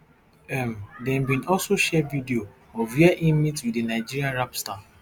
um dem bin also share video of wia im meet wit di nigeria rap star